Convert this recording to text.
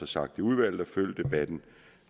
sagt i udvalget at følge debatten